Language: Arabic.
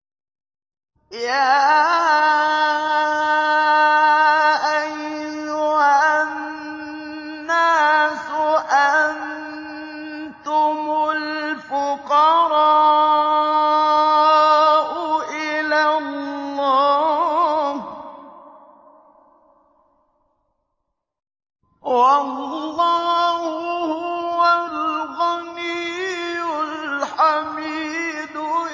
۞ يَا أَيُّهَا النَّاسُ أَنتُمُ الْفُقَرَاءُ إِلَى اللَّهِ ۖ وَاللَّهُ هُوَ الْغَنِيُّ الْحَمِيدُ